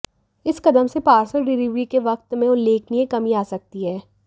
इस कदम से पार्सल डिलिवरी के वक्त में उल्लेखनीय कमी आ सकती है